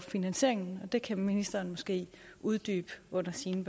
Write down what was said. finansieringen og det kan ministeren måske uddybe under sine